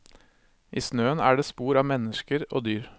I snøen er det spor av mennesker og dyr.